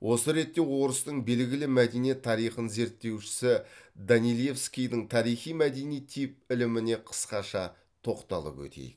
осы ретте орыстың белгілі мәдениет тарихын зерттеушісі данилевскийдің тарихи мәдени тип іліміне қысқаша тоқталып өтейік